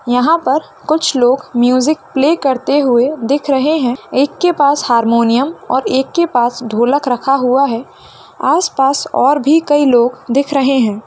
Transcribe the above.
यहाँ पर कुछ लोग म्यूजिक प्ले करते हुए दिख रहे हैं | एक के पास हारमोनियम और एक के पास ढोलक रखा हुआ है | आसपास और भी कई लोग दिख रहे हैं |